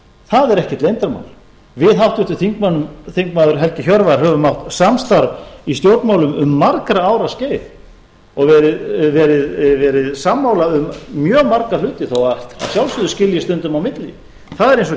það er ekkert leyndarmál við háttvirtur þingmaður helgi hjörvar höfum átt samstarf í stjórnmálum um margra ára skeið og verið sammála um mjög marga hluti þó að að sjálfsögðu skilji stundum á milli það er eins og